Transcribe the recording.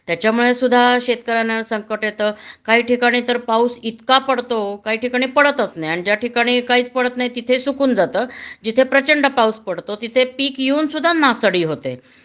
त्याच्यामुळे सुद्धा शेतकऱ्यांना संकट येत काही ठिकाणी तर पाऊस इतका पडतो काही ठिकाणी पडताच नाही आणि ज्या ठिकाणी काहीच पडत नाही तिथे सुकून जात.जिथे प्रचंड पाऊस पडतो तिथे पीक येऊन सुद्धा नासाडी होते